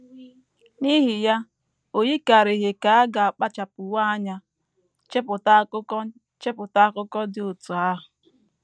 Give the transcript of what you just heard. N’ihi ya, o yikarịghị ka a ga - akpachapụwo anya chepụta akụkọ chepụta akụkọ dị otú ahụ.